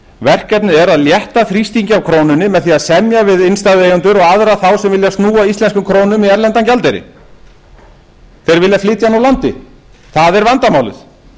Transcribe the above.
verkefnið er að létta þrýstingi af krónunni með því að semja við innstæðueigendur og aðra þá sem vilja snúa íslensku krónunni í erlendan gjaldeyri þeir vilja flytja hann úr landi það er vandamálið